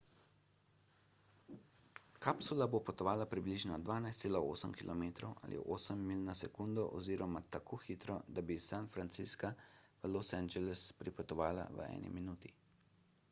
kapsula bo potovala približno 12,8 km ali 8 milj na sekundo oziroma tako hitro da bi iz san francisca v los angeles pripotovala v eni minuti